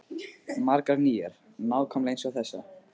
Margar nýjar, nákvæmlega eins og þessa.